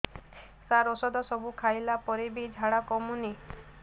ସାର ଔଷଧ ସବୁ ଖାଇଲା ପରେ ବି ଝାଡା କମୁନି